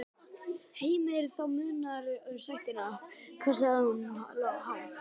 Heimir: Já, það munar um sektina, hvað er hún há?